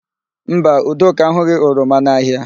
Mba, Udoka ahụghị oroma n'ahịa.